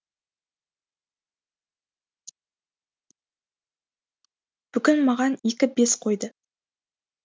бүгін маған екі бес қойды